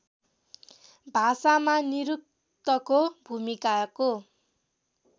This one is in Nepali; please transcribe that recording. भाषामा निरुक्तको भूमिकाको